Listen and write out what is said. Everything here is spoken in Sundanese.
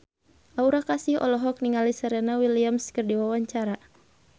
Aura Kasih olohok ningali Serena Williams keur diwawancara